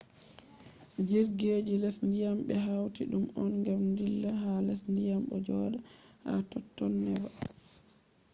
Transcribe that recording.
jirgi je les dyam be hauti dum on gam dilla ha les dyam bo joda ha totton neba